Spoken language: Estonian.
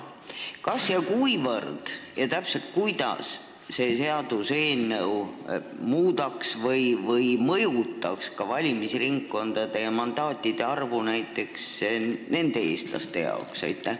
Kas, kuivõrd ja täpselt kuidas see seaduseelnõu muudaks või mõjutaks valimisringkondade ja mandaatide arvu näiteks nende eestlaste jaoks?